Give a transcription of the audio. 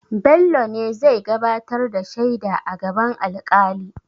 Bello ne zai gabatar da shaida a gaban alƙali.